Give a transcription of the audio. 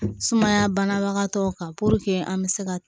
Sumaya banabagatɔw kan an bɛ se ka